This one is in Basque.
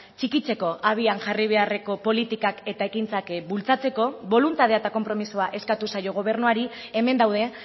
txikitzeko abian jarri beharreko politikak eta ekintzak bultzatzeko boluntadea eta konpromisoa eskatu zaio gobernuari hemen daude